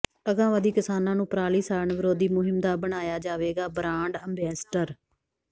ਅਗਾਂਹਵਧੂ ਕਿਸਾਨਾਂ ਨੂੰ ਪਰਾਲੀ ਸਾੜਨ ਵਿਰੋਧੀ ਮੁਹਿੰਮ ਦਾ ਬਣਾਇਆ ਜਾਵੇਗਾ ਬਰਾਂਡ ਅੰਬੈਸਡਰ